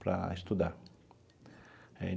para estudar.